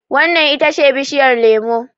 wannan ita ce bishiyar lemo!